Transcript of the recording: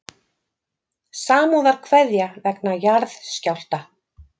Samúðarkveðja vegna jarðskjálfta